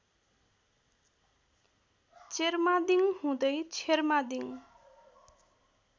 चेर्मादिङ हुँदै छेर्मादिङ